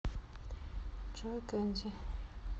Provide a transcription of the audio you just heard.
джой кензи